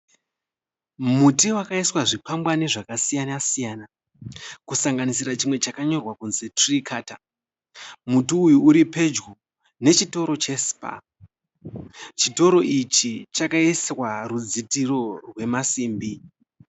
Muti wakaiswa zvikwagwani zvakasiyana- siyana ,chimwe chakanyorwa kunzi 'tree cutter' .Muti uyu uri pedyo nechitoro che Spar. Chitoro ichi chakaiswa rudzitiro rwemasimbi.